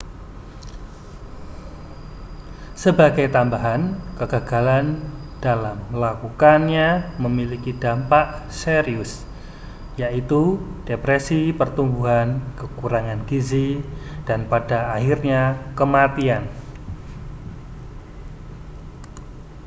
sebagai tambahan kegagalan dalam melakukannya memiliki dampak serius yaitu depresi pertumbuhan kekurangan gizi dan pada akhirnya kematian